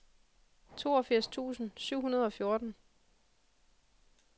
toogfirs tusind syv hundrede og fjorten